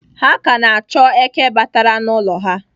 Ha ka na-achọ eke batara n'ụlọ ha.